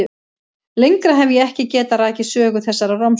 Lengra hef ég ekki getað rakið sögu þessarar romsu.